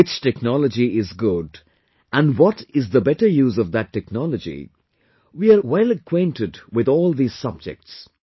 Which technology is good and what is the better use of that technology, we are well acquainted with all these subjects